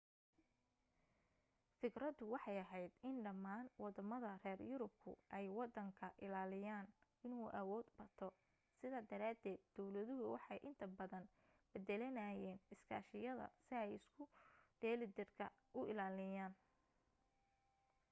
fikradu waxay ahayd in dhammaan waddamada reer yurubku ay waddan ka ilaaliyaan inuu awood bato sidaa daraadeed dawladuhu waxay inta badan beddelanayeen iskaashiyada si ay isu dheelitiranka u ilaaliyaan